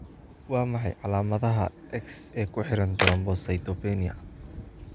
Waa maxay calaamadaha iyo calaamadaha X ee ku xidhan thrombocytopenia?